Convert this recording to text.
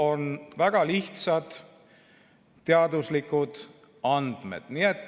On väga lihtsad teaduslikud andmed.